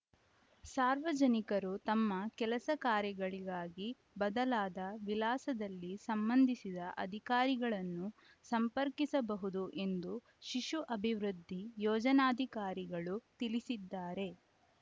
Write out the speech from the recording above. ಸಾರ್ವಜನಿಕರು ತಮ್ಮ ಕೆಲಸಕಾರ್ಯಗಳಿಗಾಗಿ ಬದಲಾದ ವಿಳಾಸದಲ್ಲಿ ಸಂಬಂಧಿಸಿದ ಅಧಿಕಾರಿಗಳನ್ನು ಸಂಪರ್ಕಿಸಬಹುದು ಎಂದು ಶಿಶು ಅಭಿವೃದ್ಧಿ ಯೋಜನಾಧಿಕಾರಿಗಳು ತಿಳಿಸಿದ್ದಾರೆ